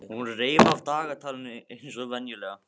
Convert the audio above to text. Hún reif af dagatalinu eins og venjulega.